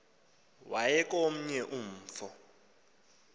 waya komnye umfo